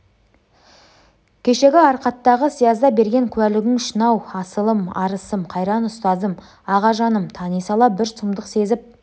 кешегі арқаттағы сиязда берген куәлігің үшін-ау асылым арысым қайран ұстазым ағажаным тани сала бір сұмдық сезіп